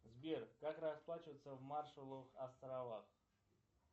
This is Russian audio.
сбер как расплачиваться в маршалловых островах